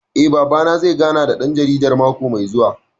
Eh, Babana zai gana da ɗan jaridar mako mai zuwa